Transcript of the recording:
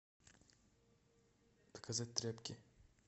заказать тряпки